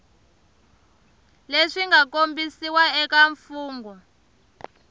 leswi nga kombisiwa eka mfugnho